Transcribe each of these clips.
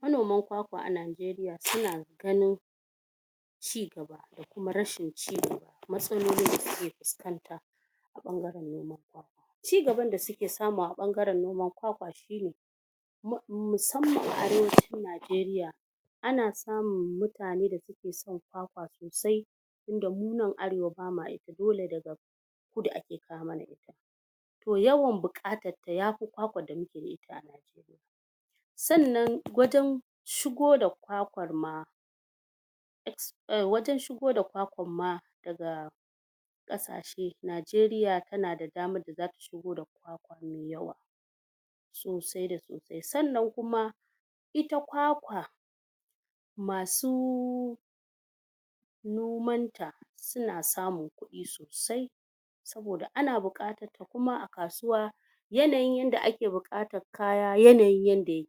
manoman ƙwaƙwa a nijeriya suna ganin kuma rashin ci da matsaloli da suke fuskanta cigaban da suke samu a bangaren noman mussamman arewancin nijeriya ana samun mutane da sai da mu nan arewa bamu iya dole da to yawan bukatan ya fi ƙwaƙwa sannan wajen shigo da ƙwaƙwan ma wajen shigo da ƙwaƙwan ma kasashe nijeriya tana da daman sosai da sannan kuma ita ƙwaƙwa masu nomanta suna samun kuɗi sosai saboda ana bukatan kuma a kasuwa yanayin yanda ake bukatan kaya yanayin yanda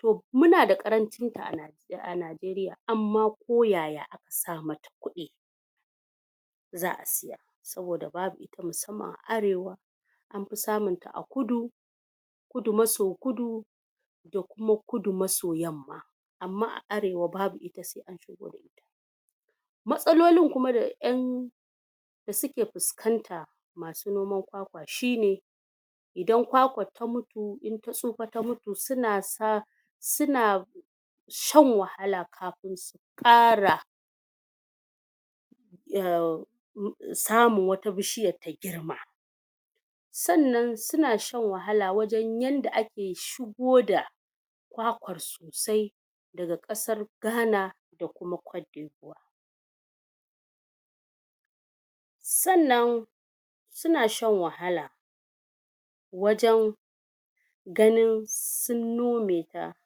toh muna da ƙarancin a a nijeriya amma ko yaya sa mata kuɗi za'a siya saboda babu ita a musamman a arewa an fi samun ta a kudu kudu maso kudu da kuma kudu maso yamma amma a arewa babu matsalolin kuma da en suke fuskanta masu noman ƙwaƙwa shine idan ƙwaƙwa ta tsufa ta mutu suna sa suna shan wahala kafun su kara um samun wata bishiyar ta girma sannan suna shan wahala wajen yanda ake shigo da ƙwaƙwar sosai daga kasar ghana kuma cotedevoier sannan sun shan wahala wajen ganin sun nome ta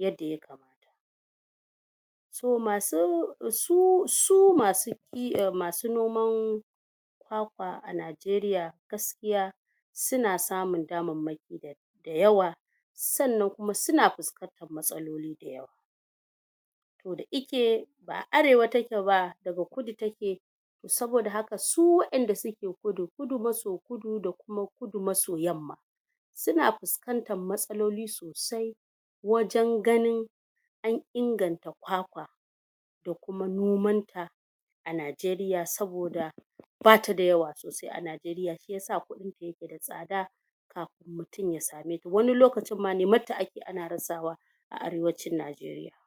yadda ya kamata so masu su masu en masu noman ƙwaƙwa a nijeriya gaskiya suna samun dama mai da yawa sannan kuma suna fuskanta matsaloli da yawa toh da ike ba'a arewa take ba daga kudu take saboda haka su wa'enda suke kudu, kudu maso kudu da kuma kudu maso yamma suna fuskantar matsaloli soasi wajen ganin an inganta ƙwaƙwa da kuma noman ta a nijeriya saboda bata da yawa sosai a nijeriya shiyasa kudin ta yake tsada mutum ya same ta wani lokacin ma neman ta ake ana rasa wa a arewacin nijeriya